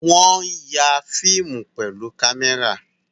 Wọ́n ya fíìmù pẹ̀lú kámẹ́rà